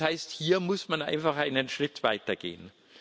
Das heißt, hier muss man einfach einen Schritt weitergehen.